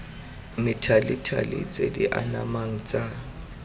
methalethale tse di anamang tsa